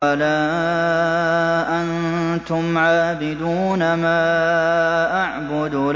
وَلَا أَنتُمْ عَابِدُونَ مَا أَعْبُدُ